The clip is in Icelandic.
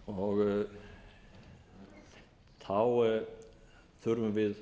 eftirlitshlutverk sitt þá þurfum við